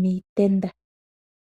miitenda.